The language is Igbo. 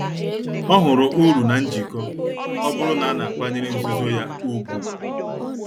Ọ hụrụ uru na njikọ, ọ bụrụ na a na-akwanyere nzuzo ya ùgwù.